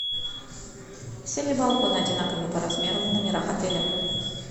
все ли балконы одинаковы по размеру в номерах отеля